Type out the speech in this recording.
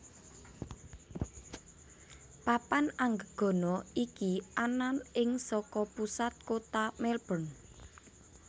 Papan Anggegana iki anan ing saka pusat kota Melbourne